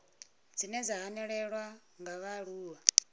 dzine dza hanelelwa nga vhaaluwa